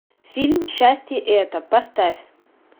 фильм счастье это поставь